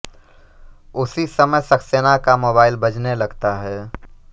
उसी समय सक्सेना का मोबाइल बजने लगता है